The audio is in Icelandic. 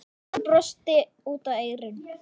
Hann brosti út að eyrum.